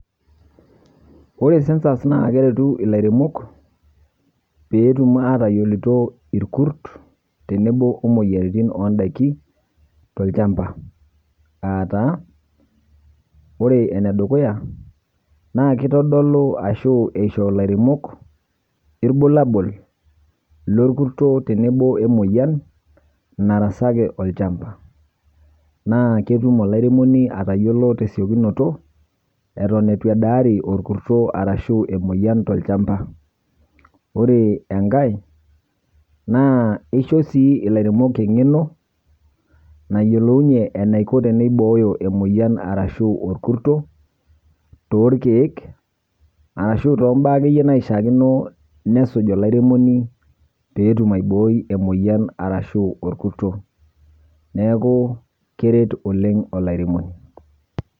Ore sensas naa kerutu ilairemok peetum atayioloito ilkurt tenebo imoyiaritin oondaiki to'lchamba aataa; ore enedukuya naakitodolu ashu eisho ilairemok ilbulabul lokurto tenebo emoyian narasaki olchamba, naa ketum olairemoni atayiolo tesiokinoto aton eitu edaari emoyian to'lchamba. Ore enkae naa isho sii ilairemok enkeno enaiko teneibooyo emoyian arashuu olkurto tookeek, arashu too baa akeyie naishaakino nesuj olairemoni peetum aibooi emoyian arashu olkurto. Neeku keret oleng' olairemoni.